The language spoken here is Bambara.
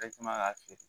k'a feere